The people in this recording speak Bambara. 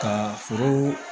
Ka foro